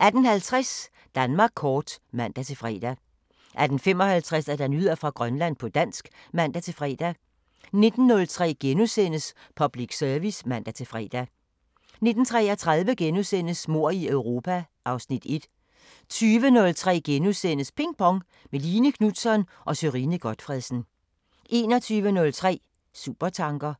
18:50: Danmark kort (man-fre) 18:55: Nyheder fra Grønland på dansk (man-fre) 19:03: Public Service *(man-fre) 19:33: Mord i Europa (Afs. 1)* 20:03: Ping Pong – med Line Knutzon og Sørine Godtfredsen * 21:03: Supertanker